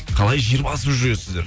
қалай жер басып жүресіздер